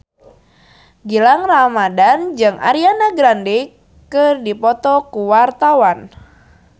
Gilang Ramadan jeung Ariana Grande keur dipoto ku wartawan